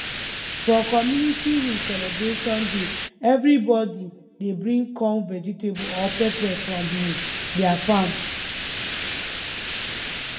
for community um celebration day every body dey bring corn vegetable or pepper from um their farm